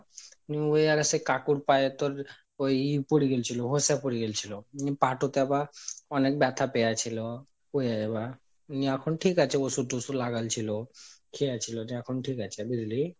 নিয়ে ওই অরে সেই কাকুর পায়ে তোর ওই ইয়া পরে গেছিল ভোসা পরে গিয়েছিল। নি পা টোতে আবার অনেক ব্যাথা পেয়াছিলো নি এখন ঠিক আছে ওষুধ টষুধ লাগালচ্ছিল খেয়েছিল দিয়ে এখন ঠিক আছে বুঝলি,